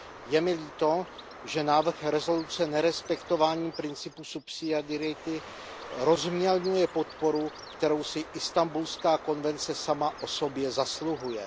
Je mi líto, že návrh rezoluce nerespektováním principů subsidiarity rozmělňuje podporu, kterou si Istanbulská konvence sama o sobě zasluhuje.